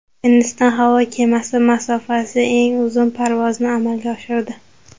Hindiston havo kemasi masofasi eng uzun parvozni amalga oshirdi.